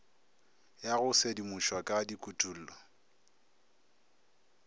ya go sedimošwa ka dikutullo